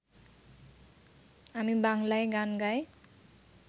আমি বাংলায় গান গাই